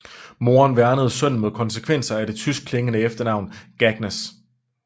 Moren værnede sønnen mod konsekvenser af det tyskeklingende efternavn Gagnus